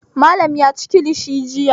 Malam ya ci kilishi jiya.